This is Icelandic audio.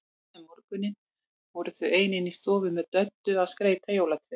Seinna um morguninn voru þau ein inni í stofu með Döddu að skreyta jólatréð.